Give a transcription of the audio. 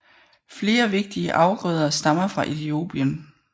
Flere vigtige afgrøder stammer fra Etiopien